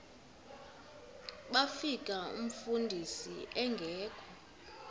bafika umfundisi engekho